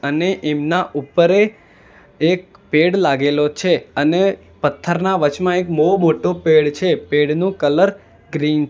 અને એમના ઉપર એ પેડ લાગેલો છે અને પથ્થરના વચમાં એક બહુ મોટો પેડ છે પેડનું કલર ગ્રીન છ --